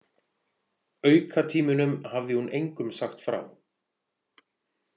Aukatímunum hafði hún engum sagt frá.